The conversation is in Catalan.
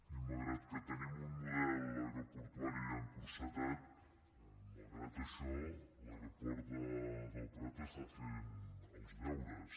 i malgrat que tenim un model aeroportuari encotillat malgrat això l’aeroport del prat fa els deures